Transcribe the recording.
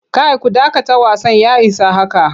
Kai ku dakata wasan ya isa haka!